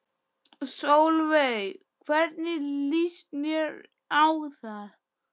Sólveig: Hvernig líst þér á það?